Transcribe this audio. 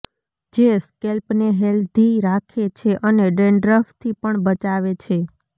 જે સ્કેલ્પને હેલ્ધી રાખે છે અને ડેન્ડ્રફથી પણ બચાવે છે